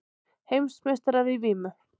Heimsmeistarar í vímu